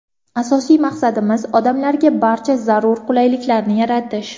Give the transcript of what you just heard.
Asosiy maqsadimiz – odamlarga barcha zarur qulayliklarni yaratish.